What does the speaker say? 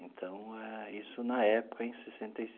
Então, isso na época em sessenta e.